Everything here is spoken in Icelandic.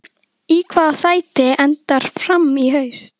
Í hvaða sæti endar Fram í haust?